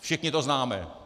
Všichni to známe.